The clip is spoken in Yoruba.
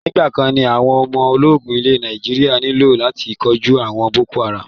Nígbàkan ní àwọn ọmọ ológun ilẹ̀ Nàíjírà nílò láti kóju àwọn boko haram.